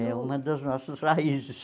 É uma das nossas raízes.